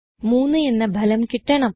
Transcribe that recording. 3 എന്ന ഫലം കിട്ടണം